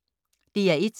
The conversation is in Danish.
DR1